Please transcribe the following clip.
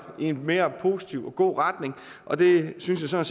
i en mere positiv og god retning og det synes jeg